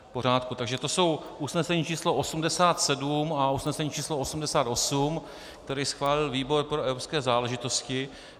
Takže to jsou usnesení číslo 87 a usnesení číslo 88, které schválil výbor pro evropské záležitosti.